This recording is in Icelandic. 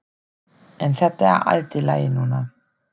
En þetta er allt í lagi núna.